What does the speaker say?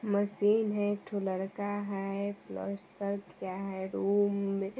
machine है एकठो लड़का है पलस्तर किया है रूम में --